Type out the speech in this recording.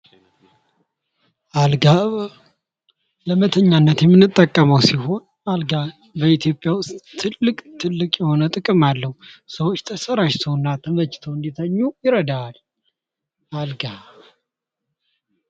አልጋ ለመተኛነት የምንጠቀመው ሲሆን፤ አልጋ በኢትዮጵያ ውስጥ ትልቅ ትልቅ የሆነ ጥቅም አለው። ሰዎች ተሰራጭቶና ተመችተው እንዲተኙ ይረዳዋል ። አልጋ.